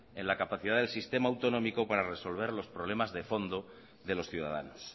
en la capacidad del sistema autonómico para resolver los problemas de fondo de los ciudadanos